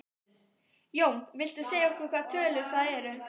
Jón: Viltu segja okkur hvaða tölur það eru?